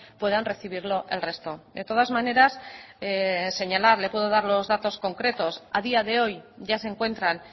puedan recibirlo el resto de todas maneras señalar le puedo dar los datos concretos a día de hoy ya se encuentran